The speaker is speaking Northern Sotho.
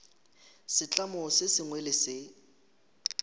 setlamo se sengwe le se